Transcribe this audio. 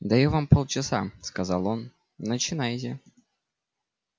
даю вам полчаса сказал он начинайте